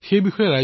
নিশ্চয় মহোদয়